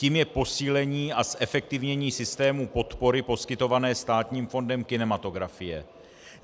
Tím je posílení a zefektivnění systému podpory poskytované Státním fondem kinematografie.